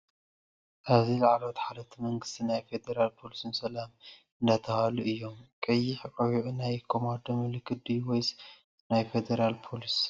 ኣብዚ ላዕለዎት ሓለፍቲ መንግስቲን ናይ ፌ ድራል ፖሊስን ሰላምታ እንዳተባሃሉ እዩም:: ቀይሕ ቆቢዕ ናይ ቆማዶ ምልክት ድዩ ወይስ ናይ ፌድራል ፖሊስ ?